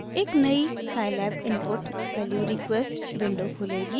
एक नयी scilab input value request window खुलेगी